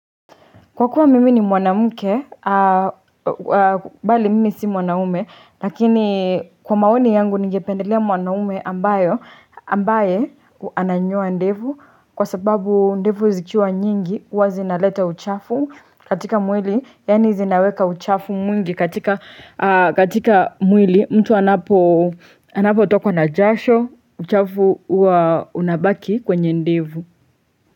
Kwa kuwa mimi ni mwanamke, bali mimi si mwanaume, lakini kwa maoni yangu ningependelea mwanaume ambayo, ambaye ananyoa ndevu kwa sababu ndevu zikiwa nyingi, huwa zinaleta uchafu katika mwili, yani zinaweka uchafu mwingi katika mwili mtu anapo anapotokwa na jasho, uchafu huwa unabaki kwenye ndevu.